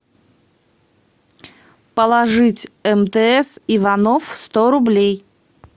положить мтс иванов сто рублей